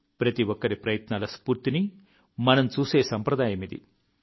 ప్రతి ఒక్కరి ప్రయత్నాల స్ఫూర్తిని మనం చూసే సంప్రదాయమిది